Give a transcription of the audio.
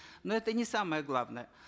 но это не самое главное